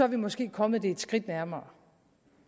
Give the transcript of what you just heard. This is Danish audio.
vi måske kommet det et skridt nærmere